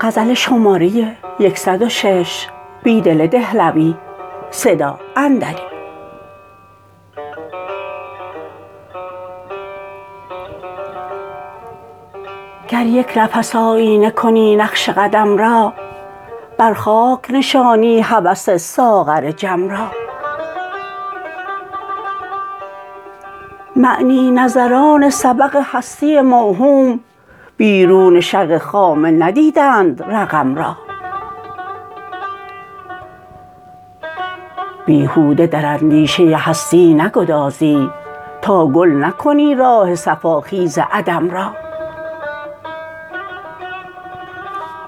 گریک نفس آیینه کنی نقش قدم را بر خاک نشانی هوس ساغر جم را معنی نظران سبق هستی موهوم بیرون شق خامه ندیدند رقم را بیهوده در اندیشه هستی نگدازی تاگل نکنی راه صفا خیز عدم را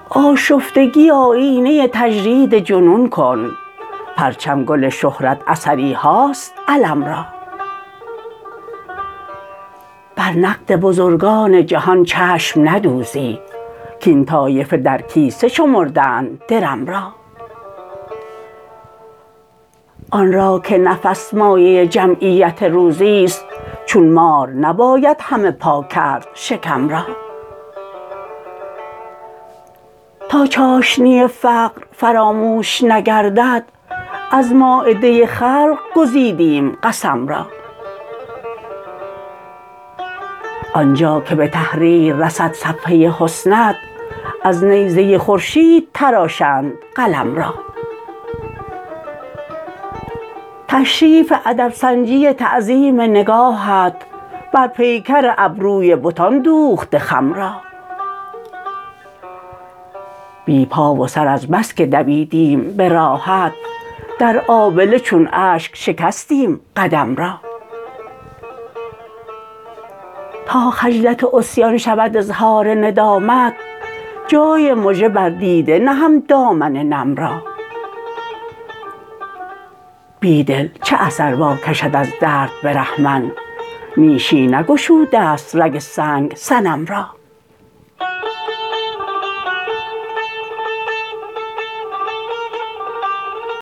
آشفتگی آیینه تجرید جنون کن پرچم گل شهرت اثریهاست علم را بر نقد بزرگان جهان چشم ندوزی کاین طایفه درکیسه شمردند درم را آن راکه نفس مایه جمعیت روزی ست چون مار نباید همه پاکرد شکم را تا چاشنی فقر فراموش نگردد از مایده خلق گزیدیم قسم را آنجاکه به تحریررسد صفحه حسنت از نیزه خورشید تراشند قلم را تشریف ادب سنجی تعظیم نگاهت برپیکر ابروی بتان دوخته خم را بی پا و سر از بسکه دویدیم به راهت در آبله چون اشک شکستیم قدم را تا خجلت عصیان شود اظهار ندامت جای مژه بر دیده نهم دامن نم را بیدل چه اثر واکشد از درد برهمن نیشی نگشوده ست رگ سنگ صنم را